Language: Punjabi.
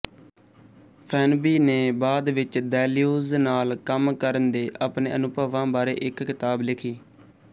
ਫੇਨਬੀ ਨੇ ਬਾਅਦ ਵਿੱਚ ਦੈਲਿਊਜ਼ ਨਾਲ ਕੰਮ ਕਰਨ ਦੇ ਆਪਣੇ ਅਨੁਭਵਾਂ ਬਾਰੇ ਇੱਕ ਕਿਤਾਬ ਲਿਖੀ